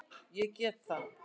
Ég get það ekki